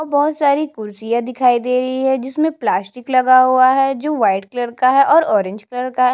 और बोहत सारी कुर्सिया दिखाई दे रही है जिसमे प्लास्टिक लगा हुआ है जो वाइट कलर का है और ऑरेंज कलर का है।